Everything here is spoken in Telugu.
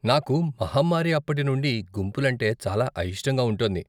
నాకు మహమ్మారి అప్పటి నుండి గుంపులంటే చాలా అయిష్టంగా ఉంటోంది.